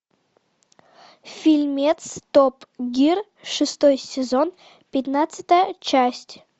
фильмец топ гир шестой сезон пятнадцатая часть